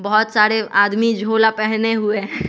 बहोत सारे आदमी झोला पहने हुए है।